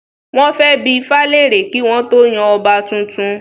Wọ́n fẹ́ bi ifá lèrè kí wọ́n tó yan ọba tuntun